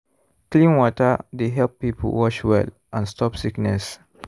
clean water dey help people wash well and stop sickness.